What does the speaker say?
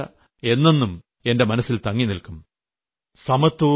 ആ കൂടിക്കാഴ്ച എന്നും എന്നും എന്നെന്നും എന്റെ മനസ്സിൽ തങ്ങിനിൽക്കും